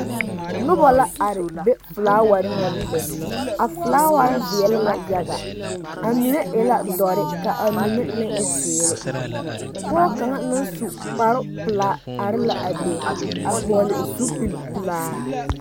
Noba la are be filaaware naŋ be a filaaware veɛlɛ la yaga a mine e dɔre ka a mine meŋ e zeere pɔge kaŋa naŋ su kparepelaa are la a be a vɔgle zupilpelaa.